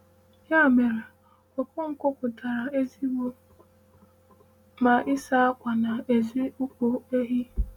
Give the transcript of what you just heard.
“Ya mere, Okonkwo pụtara ezigbo mma ịsa akwa na ezi ụkwụ ehi.”